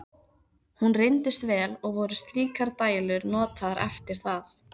Hún reyndist vel, og voru slíkar dælur notaðar eftir það.